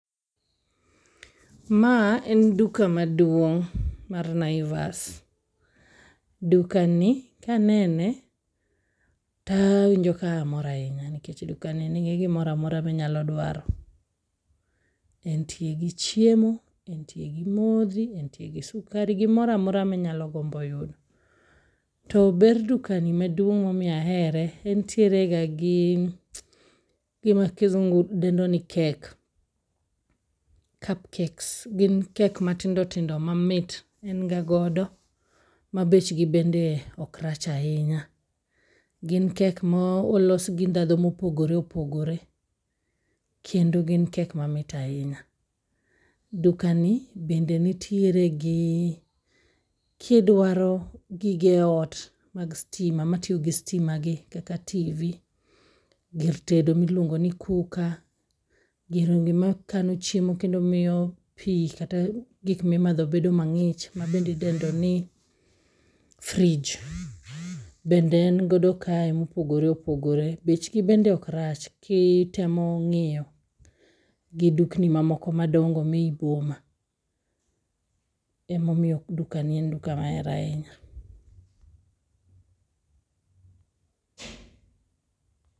Ma en duka maduong' mar Naivas. Duka ni kanene ta awinjo kamor ahinya nikech duka ni nigi gimoramora minyalo dwaro. Entie gi chiemo, entie gi modhi, entie gi sukari[ ,gimoramora minyalo gombo yudo. To ber duka ni maduong' momiyo ahere, entiere ga gi gima kizungu dendo ni cakes, cup cakes. Gin cake matindo tindo mamit en ga godo ma bechgi bende ok rach ahinya. Gin cake ma olos gi ndhadho mopogore opogore, kendo gin cake mamit ahinya. Dukani bende nitiere gi kidwaro gige ot mag stima, matiyo gi stimagi kaka TV,gir tedo miluongo ni cooker, girongi makano chiemo kendo miyo pi kata gik mimadho bedo mang'ich mabende idendo ni fridge bende en godo kae mopogore opogore. Bechgi bende ok rach kitemo ng'iyo gi dukni mamoko madongo mi eyi boma. Emomoiyo duka ni en duka mahero ahinya.